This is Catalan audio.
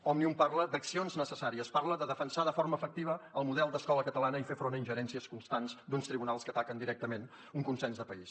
òmnium parla d’accions necessàries parla de defensar de forma efectiva el model d’escola catalana i fer front a ingerències constants d’uns tribunals que ataquen directament un consens de país